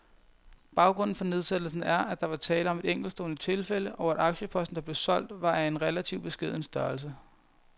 Baggrunden for nedsættelsen er, at der var tale om et enkeltstående tilfælde, og at aktieposten, der blev solgt, var af en relativt beskeden størrelse.